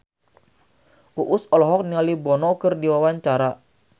Uus olohok ningali Bono keur diwawancara